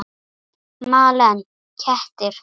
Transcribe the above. Malen: Kettir.